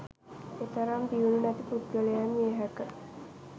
එතරම් දියුණු නැති පුද්ගලයින් විය හැක.